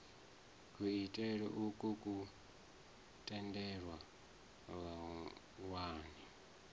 kuitele ukwu ku tendela vhawani